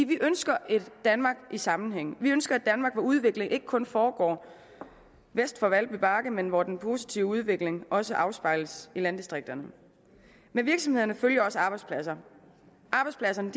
vi ønsker et danmark i sammenhæng vi ønsker et danmark hvor udvikling ikke kun foregår øst for valby men hvor den positive udvikling også afspejles i landdistrikterne med virksomhederne følger også arbejdspladser arbejdspladserne